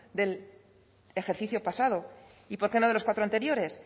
del ejercicio pasado y por qué no de los cuatro anteriores